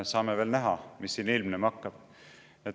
Saame veel näha, mis siin ilmnema hakkab.